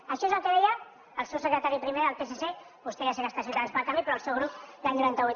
això és el que deia el seu secretari primer del psc vostè ja sé que està a ciutadans pel canvi però el seu grup l’any noranta vuit